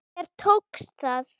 Þér tókst það!